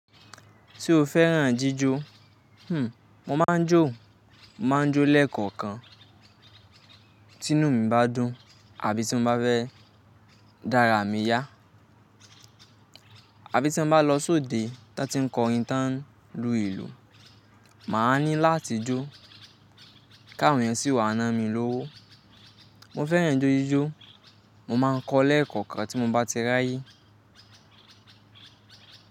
Ṣé o fẹ́ràn jíjó? Hmm, mo máa ń jó, mo máa ń jó lẹ́ẹ̀kọ̀kan. Tí inú mi bá dùn, àbí tí mo bá fẹ́ dárà mi yá, àbí tí mo bá lọ sóde táa ti ń kọrin táa ń lu ìlù, màá ní láti jó, kí àwọn eyan sì wà ná mi lówó. Mo fẹ́ràn ijó jíjó, mo má ń kọ lẹ́ẹ̀kọ̀kan tí mo bá ti rí ayé.